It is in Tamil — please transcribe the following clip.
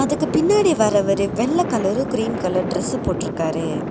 இதுக்கு பின்னாடி வரவரு வெள்ள கலரு கிரீம் கலரு டிரஸ்சு போட்டுருக்காரு.